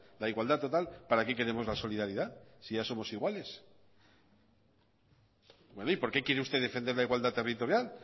la igualdad total para qué queremos la solidaridad si ya somos iguales y por qué quiere usted defender la igualdad territorial